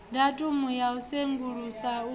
datumu ya u sengulusa u